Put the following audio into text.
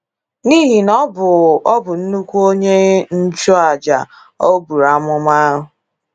N'ihi na ọ bụ ọ bụ nnukwu onye njụ aja, o buru amụma.